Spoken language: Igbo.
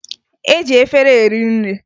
E ji efere eri nri